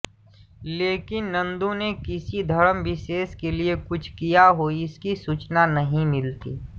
लेकिन नंदों ने किसी धर्म विशेष के लिए कुछ किया हो इसकी सूचना नहीं मिलती